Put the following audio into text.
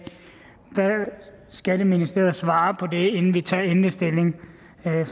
skatteministeriet svarer på det inden vi tager endelig stilling og jeg